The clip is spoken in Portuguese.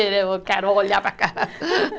Eu quero olhar para aquela